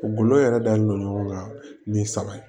U golo yɛrɛ dalen don ɲɔgɔn kan ni saba ye